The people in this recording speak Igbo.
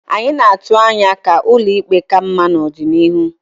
Anyị na-atụ anya ka ụlọ ikpe ka mma n'ọdịnihu.